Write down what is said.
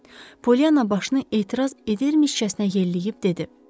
Polyanna başını etiraz edirmişkəsənə yelləyib dedi.